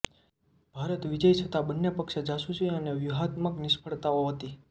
ભારતના વિજય છતાં બંને પક્ષે જાસુસી અને વ્યૂહાત્મક નિષ્ફળતાઓ હતી